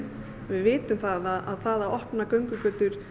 við vitum það að það að opna göngugötur